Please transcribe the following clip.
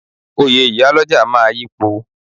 Oyè iyálọ́jà máa yipo.